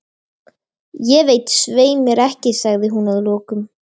Guð hvað ég sá eftir því!